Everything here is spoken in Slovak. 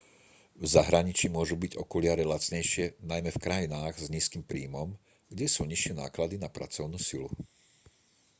v zahraničí môžu byť okuliare lacnejšie najmä v krajinách s nízkym príjmom kde sú nižšie náklady na pracovnú silu